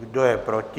Kdo je proti?